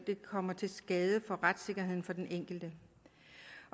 det kommer til skade for retssikkerheden for den enkelte